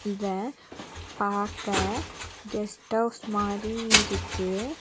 இத பாக்க guest house மாறி இருக்கு.